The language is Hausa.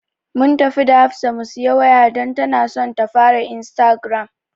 Mun tafi da Hafsa mu siyi waya don tana son ta fara istagiram.